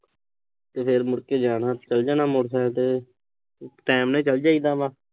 ਤੇ ਹੋਰ ਮੁੜਕੇ ਯਾਰ-ਦੋਸਤ ਚਲ ਜਾਣਾ ਮੋਟਰਸਾਈਕਲ ਤੇ। time ਨਾਲ ਚਲ ਜਾਈਦਾ ਵਾ।